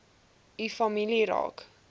u familie raak